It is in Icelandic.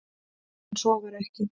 En svo var ekki.